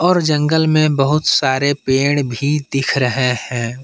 और जंगल में बहुत सारे पेड़ भी दिख रहे हैं।